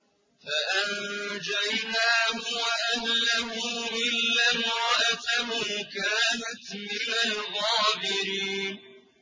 فَأَنجَيْنَاهُ وَأَهْلَهُ إِلَّا امْرَأَتَهُ كَانَتْ مِنَ الْغَابِرِينَ